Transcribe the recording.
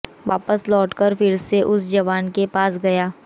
वापस लौटकर फिर से उस जवान के पास गया